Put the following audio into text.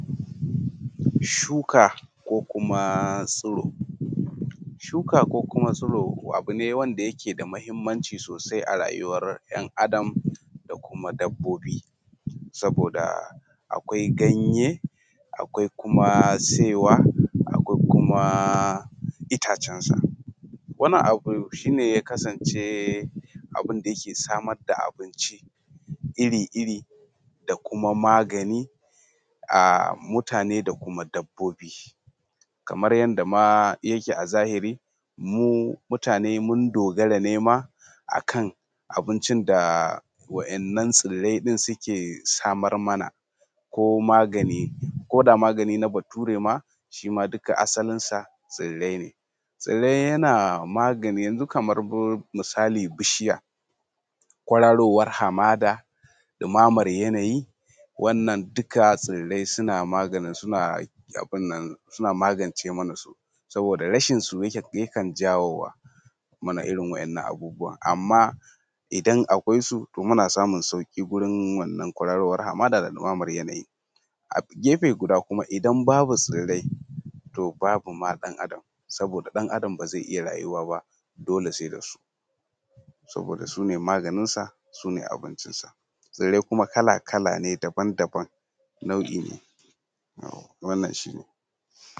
Shuka ko kuma tsiro. shuka ko kuma tsiro abu ne wanda yake da muhimmanci sosai a rayuwan ‘yan Adam da kuma dabbobi, saboda akwai ganye, akwai kuma saiwa, akwai kuma itacen sa. Wani abu shi ne ya kasance abun da yake samar da abinci iri iri da kuma magani a mutane da kuma dabbobi. Kaman yanda ma yake a zahiri mu mutane mun dogare ne ma akan abincin da wa'innan tsirrai ɗin suke samar mana ko magani koda magani na bature ma shi ma duka asalin sa tsirrai ne. Tsirrai yana maganin yanxu kamar misali bishiya kwararowan Hamada, ɗumamar yanayi, wannan duka tsirrai suna magance mana su saboda rashin su yakan jawowa muna irin wa’innan abubuwa. Amman idan akwai su to muna samun sauƙi gurin wannan kwararowan Hamadan, da ɗumaman yanayi. A gefe guda kuma idan babu tsirrai to babu ma ɗan Adam saboda ɗan Adam ba zai iya rayuwa ba dole sai da su saboda sune maganinsa, sune abincinsa, tsirrai kuma kala kala ne, daban daban nau'i ne wannan shi ne.